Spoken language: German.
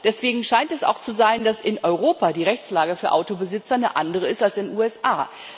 Deswegen scheint es auch zu sein, dass in Europa die Rechtslage für Autobesitzer eine andere ist als in den USA.